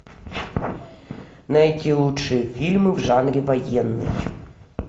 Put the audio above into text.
найти лучшие фильмы в жанре военный